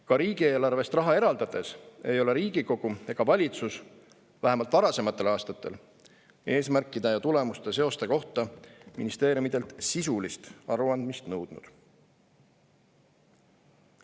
Ka riigieelarvest raha eraldades ei ole Riigikogu ega valitsus vähemalt varasematel aastatel eesmärkide ja tulemuste seoste kohta ministeeriumidelt sisulist aruandmist nõudnud.